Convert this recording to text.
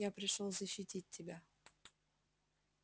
я пришёл защитить тебя